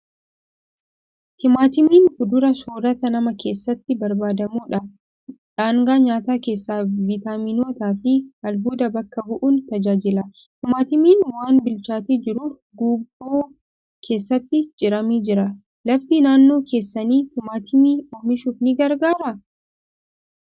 Timaatimiin fuduraa soorata namaa keessatti barbaadamudha. Dhaangaa nyaataa keessaa Vitaaminootaa fi albuuda bakka bu'uun tajaajila. Timaatimiin waan bilchaatee jiruuf guuboo keessatti ciramee jira. Lafti naannoo keessanii timaatimii oomishuuf ni gargaaraa?